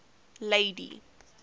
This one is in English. lady